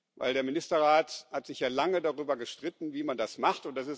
Denn der Ministerrat hat sich lange darüber gestritten, wie man das macht.